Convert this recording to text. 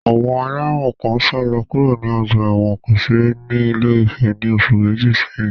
Àwọn ẹlẹ́wọ̀n kan sálọ kúrò ní ọgbà ẹ̀wọ̀n kòsẹ̀rẹ̀ ní Ilé-Ifẹ̀ ní oṣù méjì sẹ́yìn.